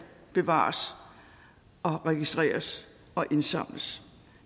bevares og registreres og indsamles